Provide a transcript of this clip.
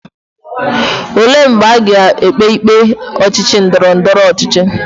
Ole mgbe aga ekpe ikpe ochichi ndoro ndoro ochichi?